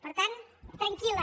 per tant tranquil·la